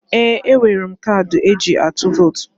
Ee! E nwere m kadị e ji atụ vot.